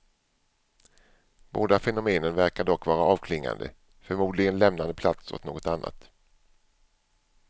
Båda fenomenen verkar dock vara avklingande, förmodligen lämnande plats åt något annat.